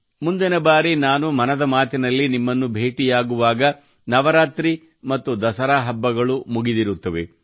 ಮುಂದಿನ ಬಾರಿ ನಾನು ಮನದ ಮಾತಿನಲ್ಲಿ ನಿಮ್ಮನ್ನು ಭೇಟಿಯಾಗುವಾಗ ನವರಾತ್ರಿ ಮತ್ತು ದಸರಾ ಹಬ್ಬಗಳು ಮುಗಿದಿರುತ್ತವೆ